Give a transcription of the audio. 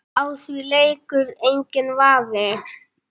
Á því leikur enginn vafi.